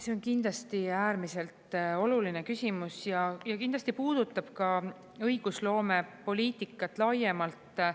See on kindlasti äärmiselt oluline küsimus ja kindlasti puudutab ka õigusloomepoliitikat laiemalt.